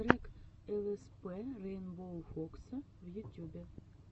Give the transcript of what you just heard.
трек лспрейнбоуфокса в ютюбе